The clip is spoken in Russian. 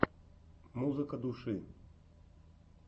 музыка души